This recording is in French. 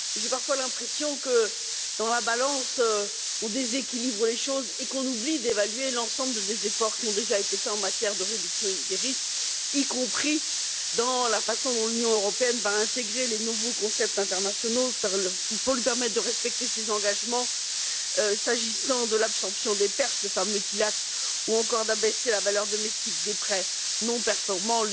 J'ai parfois l'impression que, dans la balance, on déséquilibre les choses et qu'on oublie d'évaluer l'ensemble des efforts qui ont déjà été faits en matière de réduction des risques, y compris dans la façon dont l'Union européenne va intégrer les nouveaux concepts internationaux pour lui permettre de respecter ses engagements, s'agissant de l'absorption des pertes le fameux TLAC ou encore d'abaisser la valeur domestique des prêts non performants